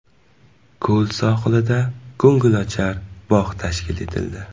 Ko‘l sohilida ko‘ngilochar bog‘ tashkil etildi.